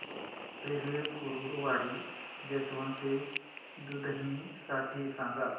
railway Kurduwadi junction ते दुधनी साठी सांगा